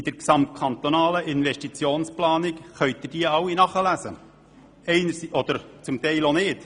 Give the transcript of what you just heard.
Sie können diese alle in der gesamtkantonalen Investitionsplanung nachlesen oder zum Teil auch nicht.